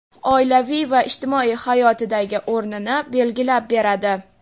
oilaviy va ijtimoiy hayotidagi o‘rnini belgilab beradi.